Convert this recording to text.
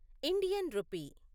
Indian rupee